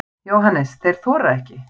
JÓHANNES: Þeir þora ekki.